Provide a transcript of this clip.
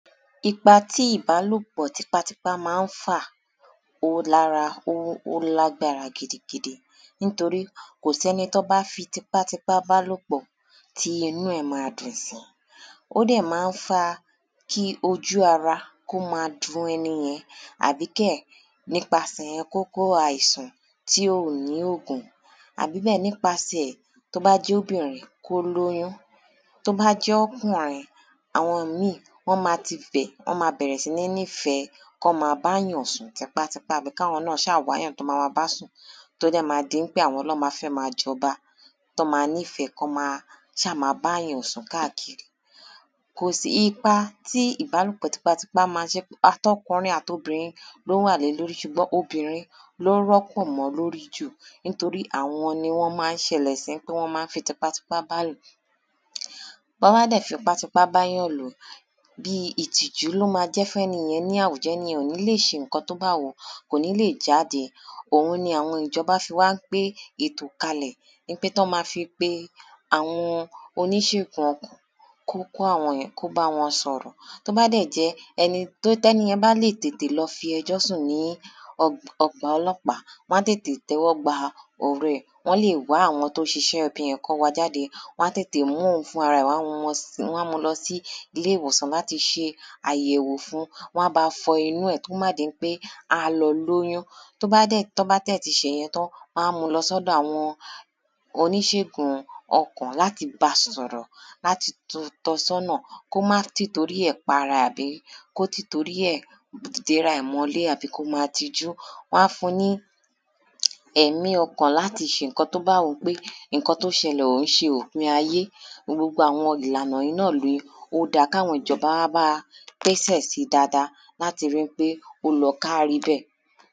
ipa tí ìbálòpọ̀ tipátipá máa ń fà ó lára, ó lágbára gidigidi nítorí kò sẹ́ni tọ́n bá fi tipátipá bá lò pọ̀ tí inu ẹ̀ máa dùn sí, ó dẹ̀ máa ń fa kí ojú ara kó máa dun ẹni yẹn àbí kẹ̀ nípasẹ̀ kó kó àìsàn tí ò ní ògùn àbí bẹ́ẹ̀, nípasẹ̀ tó bá jẹ́ obìnrin kó lóyún, tó bá jẹ́ ọ́kùnrin, àwọn míì wọ́n máa tifẹ̀, wọ́n máa bẹ̀rẹ̀ sí nífẹ̀ẹ́ kán máa báyàn sùn tipátipá àbí káwọn náà ṣáà wáyàn tán ma máa bá sùn tó dẹ̀ máa di ń pé àwọn lọ́ máa fẹ́ máa jọba tán máa nífẹ̀ẹ́ kán máa ṣáà máa báyàn sùn káàkiri. kò sí ipa tí ìbálòpò tipátipá máa jẹ́, àtọkùnrin atobìnrin ló wà lé lórí ṣùgbọ́n obìnrin ló rọ́pọ̀ mọ́ lórí jù nítorí àwọn ni wọ́n máa ń ṣẹlẹ̀ sí ń pé wọ́n máa ń fi tipátipá bá lò. bọ́n bá dẹ̀ fipá tipá báyàn lò, bíi ìtìjú ló máa jẹ́ fún ẹni yẹn ní àwùjọ. ẹni yẹn ò ní lè ṣe ǹkan tó bá wù ú, kò ní lè jáde, òun ni àwọn ìjọba fi wá gbé ẹ̣̀tò kalẹ̀ í pé tán máa fi pe àwọn oníṣègùn kó kọ̀ àwọn kó bá wọn sọ̀rọ̀. tó bá dẹ̀ jẹ́ ẹni tó, tẹ́ni yẹn bá lè tètè lọ fi ẹjó sùn ní ọgb, ọgbà ọlọ́pá, wọ́n á tètè tẹ́wọ́ gba ọ̀rọ̀ ẹ̀, wọ́n lè wá àwọn tó ṣiṣẹ́ ibi yẹn, kán wá a jáde, wọ́n á tètè mú òun fúnrara ẹ̀, wọ́n á wọn sí, wọ́n á mú u lọ sí iléwòsàn láti ṣe àyẹ̀wò fun, wọ́n á ba fọ inú ẹ̀ tó má di ń pé á lọ lóyún. tọ́ bá dẹ̀, tó bá dẹ̀ ti ṣè yẹn tán, wọ́n á mu lọ sọ́dọ̀ àwọn oníṣègùn-un ọkàn láti ba sọ̀rọ̀ láti tọ sọ́nà kó má tìtorí ẹ̀ para ẹ̀ àbí kó tìtorí ẹ̀ déra ẹ̀ mọ́ lé àbí kó ma tijú. wọ́n á fun ní ẹ̀mí ọkàn láti ṣe ǹkan tó bá wù ú pé ìnkan tó ṣẹlẹ̀ ò ń ṣe òpin ayé. gbogbo àwọn ìlànà yìí náà nì ó dá a káwọn ìjọba á bá a pésẹ̀ sí dáadáa láti ri ń pé ọ́ lọ káárí bẹ́ẹ̀.